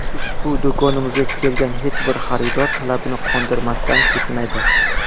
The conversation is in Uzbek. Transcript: Ushbu do‘konimizga kelgan hech bir xaridor talabini qondirmasdan ketmaydi.